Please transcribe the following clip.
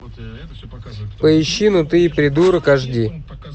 поищи ну ты и придурок аш ди